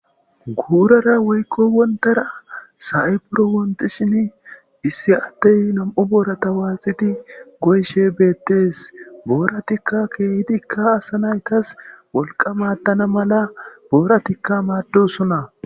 guurara woykko wonttaara sa'ay buro wontishini issi addey nam''u boorata waaxidi goyishe beettes. Booratikka keehidikka asa naytas wolqa maaddana mala booratikka maaddosona.